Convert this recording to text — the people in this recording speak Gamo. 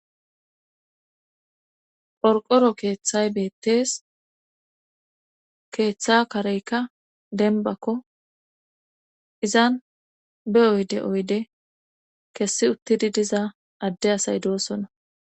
Qorqoro keeththay beettees keeththa kareykka denbakko izan be oyde oyde kessi uttidi diza adde asay doosona